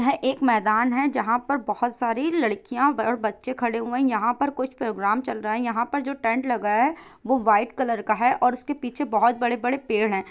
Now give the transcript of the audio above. यह एक मैदान है जहाँ पर बहुत सारी लड़कियां और बच्चे खड़े हुए है यहाँ पर कुछ प्रोग्राम चल रहा है यहां पर जो टेंट लगा है वो वाइट कलर का है और उसके पीछे बहुत बड़े- बड़े पेड़ है।